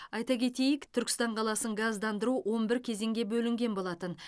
айта кетейік түркістан қаласын газдандыру он бір кезеңге бөлінген болатын